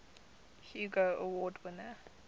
hugo award winner